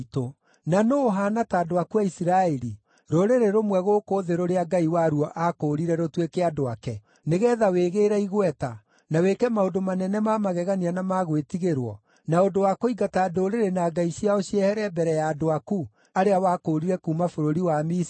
Na nũũ ũhaana ta andũ aku a Isiraeli, rũrĩrĩ rũmwe gũkũ thĩ rũrĩa Ngai waruo aakũũrire rũtuĩke andũ ake, nĩgeetha wĩgĩĩre igweta, na wĩke maũndũ manene ma magegania na ma gwĩtigĩrwo, na ũndũ wa kũingata ndũrĩrĩ na ngai ciao ciehere mbere ya andũ aku, arĩa wakũũrire kuuma bũrũri wa Misiri?